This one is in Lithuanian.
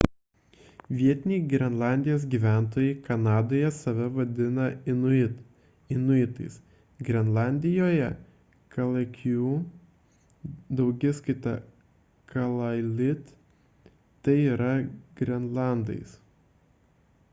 vietiniai grenlandijos gyventojai kanadoje save vadina inuit inuitais grenlandijoje – kalaalleq daugiskaita – kalaallit tai yra grenlandais